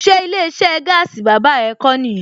Ṣé ilé iṣẹ́ gaasi bàbá ẹ kó nìyẹn?